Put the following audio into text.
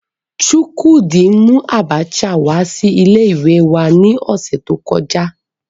Chukwudi mu Abacha wa si ile iwe ni ose to koja